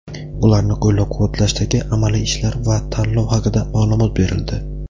ularni qo‘llab-quvvatlashdagi amaliy ishlar va tanlov haqida ma’lumot berildi.